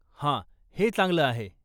हा, हे चांगलं आहे.